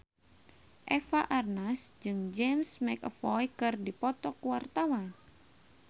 Eva Arnaz jeung James McAvoy keur dipoto ku wartawan